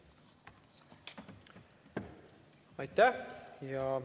Aitäh!